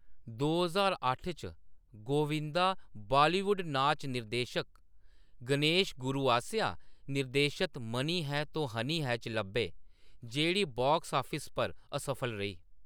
दो ज्हार अट्ठ च, गोविंदा बालीवुड नाच निर्देशक गणेश गुरू आसेआ निर्देशत `मनी है तो हनी है` च लब्भे ,जेह्‌ड़ी बॉक्स ऑफिस पर असफल रेही।